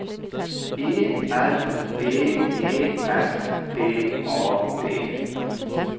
E L V E S T A D